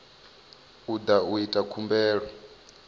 o da u ita khumbelo